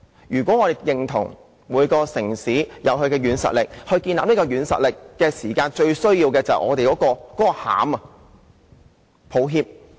如果我們認同每個城市也應有其軟實力，而建立軟實力最需要的是"內涵"的話，那我只能說：抱歉！